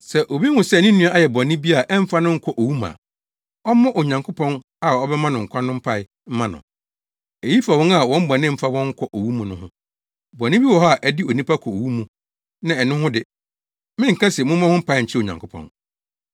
Sɛ obi hu sɛ ne nua ayɛ bɔne bi a ɛmfa no nkɔ owu mu a, ɔmmɔ Onyankopɔn a ɔbɛma no nkwa no mpae mma no. Eyi fa wɔn a wɔn bɔne mfa wɔn nkɔ owu mu no ho. Bɔne bi wɔ hɔ a ɛde onipa kɔ owu mu na ɛno ho de, menka sɛ mommɔ ho mpae nkyerɛ Onyankopɔn.